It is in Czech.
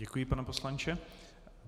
Děkuji, pane poslanče.